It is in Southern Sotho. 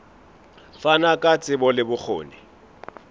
fana ka tsebo le bokgoni